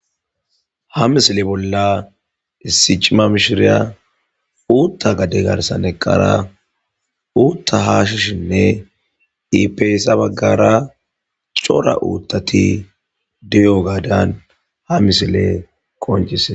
ha misile bolla issi cima mishiriya uutta gade garsan eqqara uutta haashishinne ipe hessa baggara cora uuttati diyo gaadan ha misiley qoncisee